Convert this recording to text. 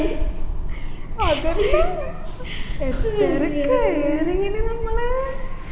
അതെന്നെ എത്തറ കയറിയിന് നമ്മള്